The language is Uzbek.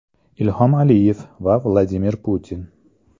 Ilhom Aliyev va Vladimir Putin.